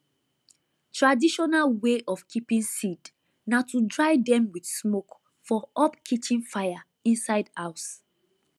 traditional way of keeping seed na to dry dem with smoke for up kitchen fire inside house